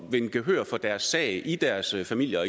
vinde gehør for deres sag i deres familier